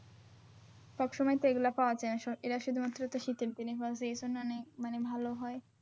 সবসময় তো এগুলা পাওয়া যায়না এরা শুধুমাত্র তো শীতের দিনে তো এইজন্যে মানে ভালো হয়।